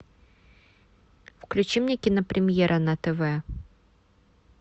включи мне кинопремьера на тв